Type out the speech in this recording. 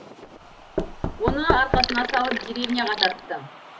оны арқасына салып деревняға тартты